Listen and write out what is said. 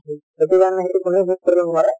সেইটো কাৰণে